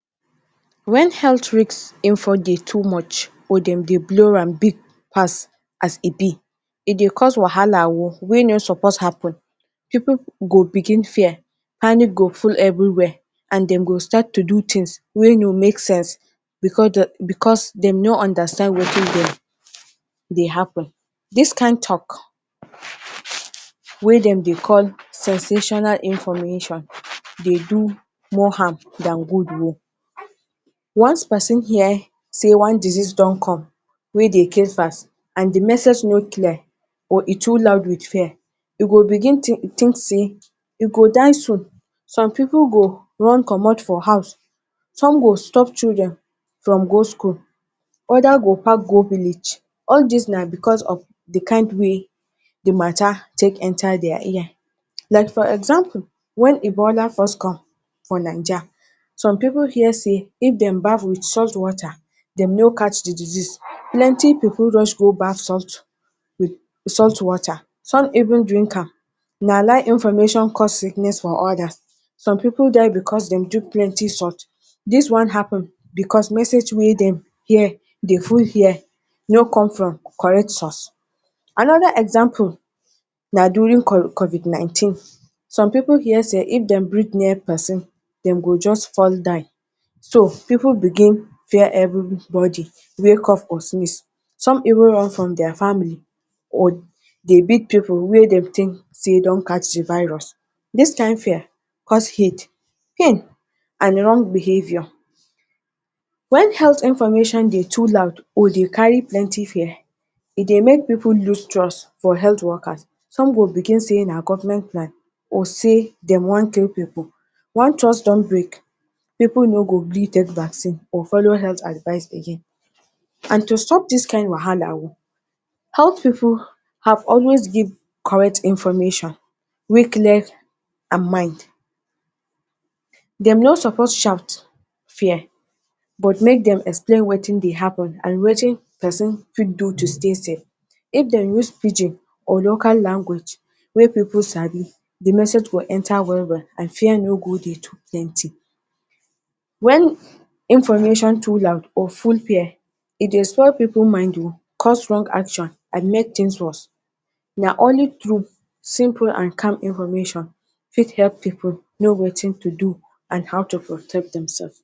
When health risk info dey too much, or dem dey blow am big pass as e be, e dey cause wahala oh wey no suppose happen. Pipu go begin fear, panic go full everywhere and dem go start to do tins wey no make sense, because dem no understand wetin dey happen. Dis kain tok wey dem dey call “sensational information” dey do more harm than good oh. Once pesin hear sey one disease don come wey dey kee fast and di message no clear or e too loud with fear, e go begin tink tink sey e go die soon. Some pipu dey run comot for house, some go stop children from go school, oda go park go village. All dis na because of di kain way di ma?ta? take enta dia ear. Like for example, wen Ebola first come for Naija, some pipu hear sey if dem baff with salt water, dem no catch di disease. Plenty pipu rush go baff salt with salt water. Some even drink am. Na lie information cause sickness for odas. Some pipu die because dem plenty salt. All dis one happen because message wey dem hear dey hear no come from correct source. Anoda example na during CO COVID-19. Some pipu hear sey if dem breath near pesin, dem go just fall die. So, pipu begin fear everybody wey cough or sneeze. Some even run from dia family, or di big pipu wey dem tink sey don catch di virus. Dis kain fear cause hate, pain and wrong behaviour. Wen health information dey too loud or dey carry fear, e dey make pipu lose trust for health workers. Some go begin say na government plan or sey dem wan kee pipu. Once trust don break, pipu no go gree take vaccine or follow health advice again. And to stop dis kain wahala oh, health pipu have always give correct information wey clear and mild. Dem no suppose shout, fear but make dem explain wetin dey happen, and wetin pesin fit do to stay safe. If dem use pidgin or local language wey pipu sabi, di message go enta well well and fear no go dey too plenty. Wen information too loud or full fear, e dey spoil pipu mind oh, cause wrong actions and make tins worse. Na only truth, simple and calm information fit epp people know wetin to do and how to protect demsef.